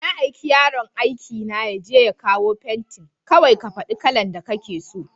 Na aiki yaron aikina yaje ya kawo fentin, kawai ka faɗa kalan da kake so.